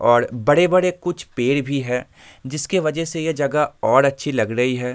और बड़े बड़े कुछ पेड़ भी है जिस के वजह से ये जगह और अच्छी लग रही है।